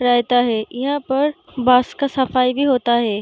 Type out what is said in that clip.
रहता है। यहां पर बस का सफाई भी होता है।